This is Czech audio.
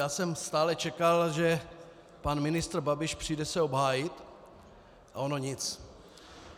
Já jsem stále čekal, že pan ministr Babiš přijde se obhájit, a ono nic.